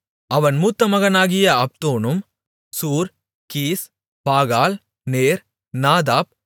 அவன் மூத்த மகனாகிய அப்தோனும் Zur Kish Baal Ner Nadab